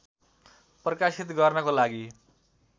प्रकाशित गर्नको लागि